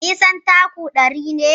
Nisan taku ɗari ne.